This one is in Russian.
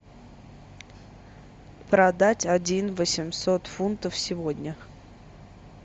продать один восемьсот фунтов сегодня